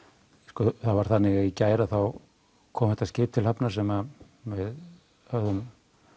sko það var þannig að í gær kom þetta skip til hafnar sem við höfðum